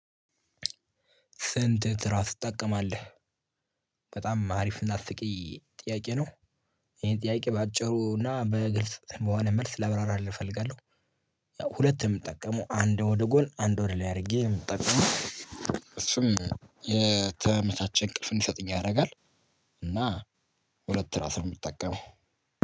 ስንት ትራስ ትጠቀማለህ? በጣም አሪፍ እና አስቂኝ ጥያቄ ነው። ይሄን ጥያቄ በአጭሩ እና በግልጽ በሆነ መልስ ላብራራልህ እፈልጋለሁ። ያው ሁለት ነው የምጠቀመው አንድ ወደ ጎን አንድ ወደ ላይ አድርጌ ነው የምጠቀመው። እሱም የተመቻቸ እንቅልፍ እንዲሰጡኝ ያደርጋል። እና ሁለት ትራስ ነው የምጠቀመው።